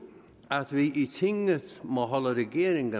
at vi i tinget må holde regeringen